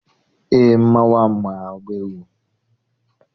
Eé, mmanwụ ahụ maara agba egwu.